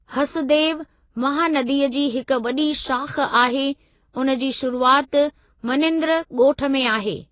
हसदेव, महानदीअ जी हिक वॾी शाख़ आहे, उन जी शुरूआति मनेंद्र ॻोठ में आहे।